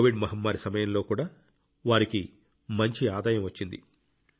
Covid మహమ్మారి సమయంలో కూడా వారికి మంచి ఆదాయం వచ్చింది